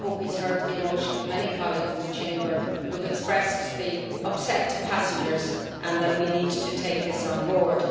I hope he has heard the emotion of many colleagues in the Chamber, who have expressed the upset caused to passengers and the fact that we need to take this on board.